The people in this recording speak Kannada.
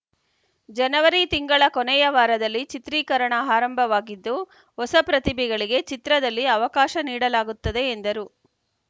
ಜನವರಿ ತಿಂಗಳ ಕೊನೆಯ ವಾರದಲ್ಲಿ ಚಿತ್ರೀಕರಣ ಹಾರಂಭವಾಗಿದ್ದು ಹೊಸ ಪ್ರತಿಭೆಗಳಿಗೆ ಚಿತ್ರದಲ್ಲಿ ಅವಕಾಶ ನೀಡಲಾಗುತ್ತದೆ ಎಂದರು